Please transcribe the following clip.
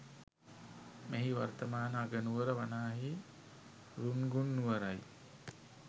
මෙහි වර්තමාන අගනුවර වනාහි රුන්ගුන් නුවරයි